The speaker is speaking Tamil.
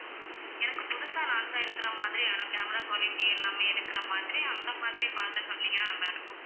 எனக்கு புதுசா launch ஆயிருக்கிற மாதிரியான camera quality எல்லாமே இருக்கிற மாதிரி அந்த மாதிரி பார்த்து சொன்னீங்கன்னா நல்லா இருக்கும்